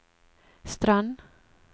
Strand